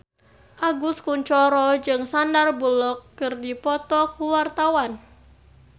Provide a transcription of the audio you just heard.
Agus Kuncoro jeung Sandar Bullock keur dipoto ku wartawan